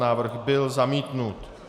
Návrh byl zamítnut.